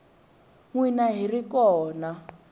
n wina hi ri kona